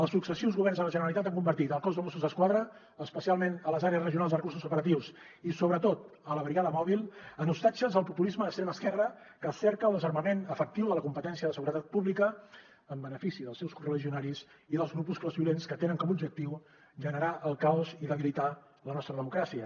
els successius governs de la generalitat han convertit el cos de mossos d’esquadra especialment les àrees regionals de recursos operatius i sobretot la brigada mòbil en ostatges del populisme d’extrema esquerra que cerca el desarmament efectiu de la competència de seguretat pública en benefici dels seus correligionaris i dels grupuscles violents que tenen com a objectiu generar el caos i debilitar la nostra democràcia